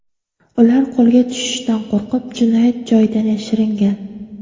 Ular qo‘lga tushishdan qo‘rqib, jinoyat joyidan yashiringan.